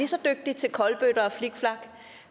så dygtig til kolbøtter og flikflak